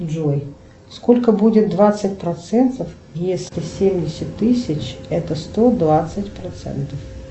джой сколько будет двадцать процентов если семьдесят тысяч это сто двадцать процентов